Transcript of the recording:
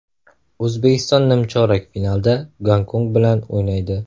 O‘zbekiston nimchorak finalda Gonkong bilan o‘ynaydi.